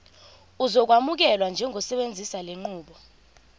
uzokwamukelwa njengosebenzisa lenqubo